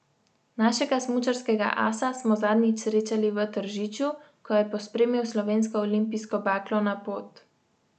Našega smučarskega asa smo zadnjič srečali v Tržiču, ko je pospremil slovensko olimpijsko baklo na pot.